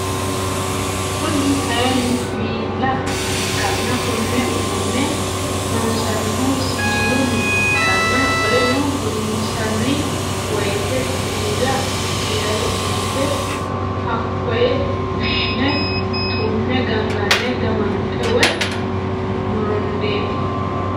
Kune kaayiini siwiila ikkanna konne uduunne loonsanihuno siwiilunni ikkanna qoleno loonsani wooyiite siwwila giirate dunbbe hakooyi fushshine tumee gangane gamanxee woy morondeeti